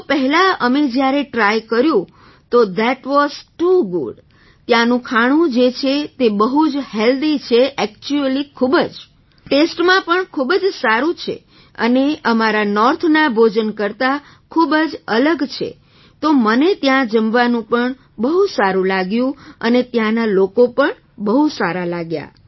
તો પહેલા અમે જ્યારે ટ્રાય કર્યું તો થત વાસ ટૂ ગુડ ત્યાંનું ખાણું જે છે તે બહુ જ હૅલ્ધી છે ઍક્ચ્યુઅલી ખૂબ જ ટેસ્ટમાં પણ ખૂબ જ સારું છે અને અમારા નૉર્થના ભોજન કરતાં ખૂબ જ અલગ છે તો મને ત્યાં જમવાનું પણ બહુ સારું લાગ્યું અને ત્યાંના લોકો પણ બહુ સારા લાગ્યા